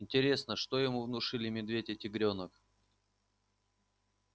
интересно что ему внушили медведь и тигрёнок